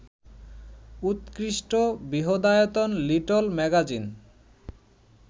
উৎকৃষ্ট, বৃহদায়তন little magazine